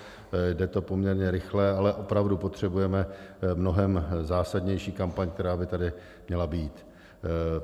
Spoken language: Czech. Jde to poměrně rychle, ale opravdu potřebujeme mnohem zásadnější kampaň, která by tady měla být.